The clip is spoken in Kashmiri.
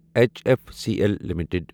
H F C L limited